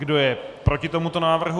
Kdo je proti tomuto návrhu?